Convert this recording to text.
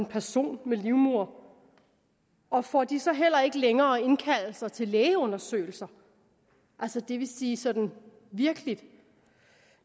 person med livmoder og får de så heller ikke længere indkaldelser til lægeundersøgelser altså det vil sige sådan i virkeligheden